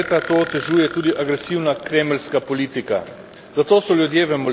Na vzhodu Evrope zadnja leta to otežuje tudi agresivna kremeljska politika.